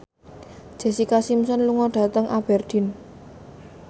Jessica Simpson lunga dhateng Aberdeen